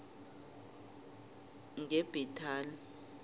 ngebhetali